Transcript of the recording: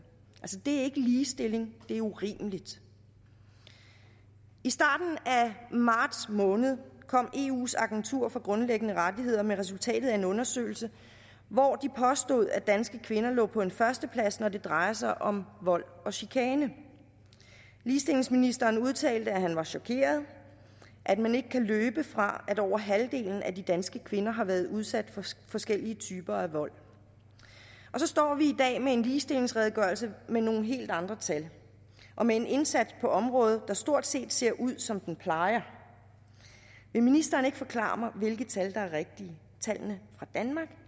det er ikke ligestilling det er urimeligt i starten af marts måned kom eus agentur for grundlæggende rettigheder med resultatet af en undersøgelse hvor de påstod at danske kvinder ligger på en førsteplads når det drejer sig om vold og chikane ligestillingsministeren udtalte at han var chokeret og at man ikke kan løbe fra at over halvdelen af de danske kvinder har været udsat for forskellige typer vold så står vi i dag med en ligestillingsredegørelse med nogle helt andre tal og med en indsats på området der stort set ser ud som den plejer vil ministeren ikke forklare mig hvilke tal der er rigtige